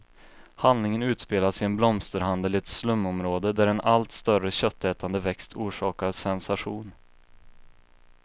Handlingen utspelas i en blomsterhandel i ett slumområde, där en allt större köttätande växt orsakar sensation.